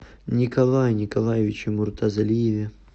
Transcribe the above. николае николаевиче муртазалиеве